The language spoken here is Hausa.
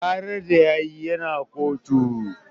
Ƙarar da yayi yana kotu